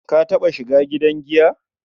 Ka taɓa shiga gidan giya?